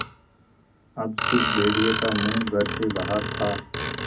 अब स़िर्फ भेड़िए का मुँह घर से बाहर था